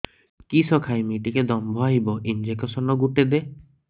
କିସ ଖାଇମି ଟିକେ ଦମ୍ଭ ଆଇବ ଇଞ୍ଜେକସନ ଗୁଟେ ଦେ